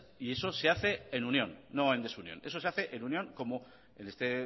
y eso se hace en unión no en desunión eso se hace en unión como en este